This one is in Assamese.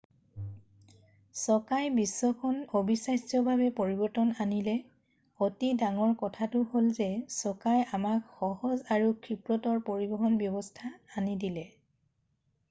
চকাই বিশ্বখন অবিশ্বাস্যভাৱে পৰিবৰ্তন কৰিলে অতি ডাঙৰ কথাটো হ'ল যে চকাই আমাক সহজ আৰু ক্ষীপ্ৰতৰ পৰিবহন ব্যৱস্থা আনি দিলে